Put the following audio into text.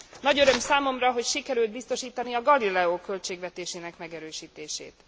Nagy öröm számomra, hogy sikerült biztosítani a Galileo költségvetésének megerősítését.